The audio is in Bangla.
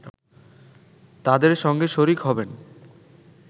তাদের সঙ্গে শরিক হবেন